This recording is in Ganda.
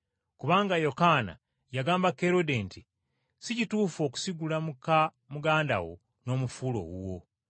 kubanga Yokaana yagamba Kerode nti, “Si kituufu okusigula muka muganda wo n’omufuula owuwo.”